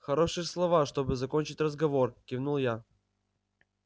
хорошие слова чтобы закончить разговор кивнул я